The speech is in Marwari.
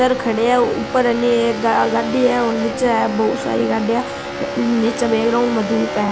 ऊपर है नी एक गाड़ी है और निचे है बहुत सारी गाड़ीया निचे बैग्राउंड में धूप है।